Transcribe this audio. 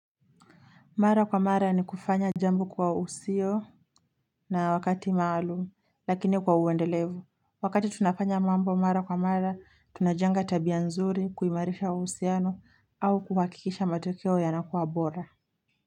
Mara kwa mara ni kufanya jambo kwa usio na wakati maalumu, lakini kwa uendelevu. Wakati tunafanya mambo mara kwa mara, tunajenga tabia nzuri, kuimarisha uhusiano, au kuhakikisha matokeo yanakua bora.